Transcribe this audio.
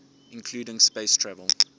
including space travel